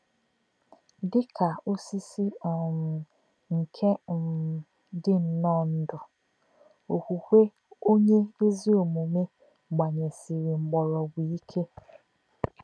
Dị̀ kā̄ òsị̀sì̄ um nké̄ um dì̄ nnọọ ndú̄, okwụ̀kwè̄ nké̄ ọ̀nyé̄ ézì ọ̀mùmè̄ gbà̄nyèsì̄rì̄ mkpọ̀rọ́gwù̄ íkè̄.